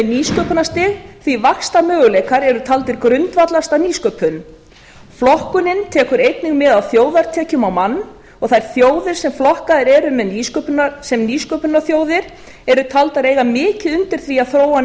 er nýsköpunarstig því vaxtarmöguleikar eru taldir grundvallast á nýsköpun flokkunin tekur einnig mið af þjóðartekjum á mann og þær þjóðir sem flokkaðar eru sem nýsköpunarþjóðir eru taldar eiga mikið undir því að þróa